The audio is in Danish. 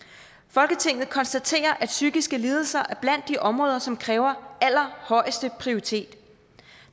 folketinget konstaterer at psykiske lidelser er blandt de områder som kræver allerhøjeste prioritet